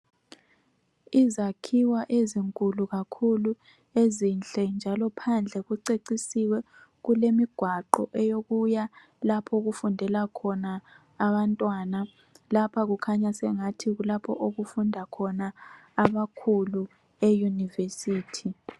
Izakhiwo ezinkulu kakhulu ezinhle njalo phandle kucecisiwe kulemigwaqo eyokuya lapho okufundela khona abantwana lapha kukhanya sengathi kulapho okufunda khona abakhulu euniversity.